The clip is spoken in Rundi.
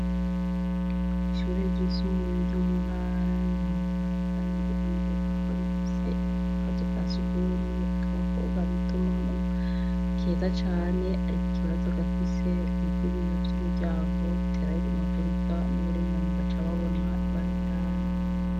Ishure ryisumbuye ryo mu ntara ya buwanja riryoukunegeza korekuse akazi kasi ugumwe kabakobwa bituma mu keza cane, ariko ikibazo gafise nk'uko ibiyo vy'umuryango butera yigumagurika n'uburenganyi gaca ababona ibarindana.